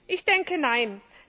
Ich denke Nein.